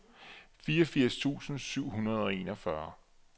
fireogfirs tusind syv hundrede og enogfyrre